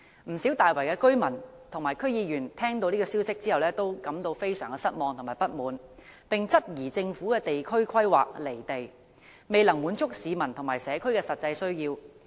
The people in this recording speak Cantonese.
不少大圍居民和區議員聽到這消息後都感到非常失望和不滿，並質疑政府的地區規劃"離地"，未能滿足市民和社區的實際需要。